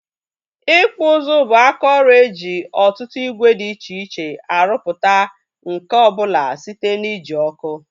Ịkpụ ụzụ bụ aka ọrụ e ji ọtụtụ ìgwè dị iche iche arụpụta nkà ọbụla site na ị ji ọkụ